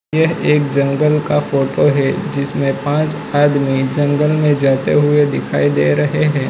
ये एक जंगल का फोटो हैं जिसमें पाँच आदमी जंगल में जाते हुए दिखाई दे रहे हैं।